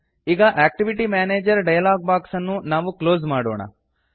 ಈಗ activity manager dialog box ಅನ್ನು close ಮಾಡೋಣ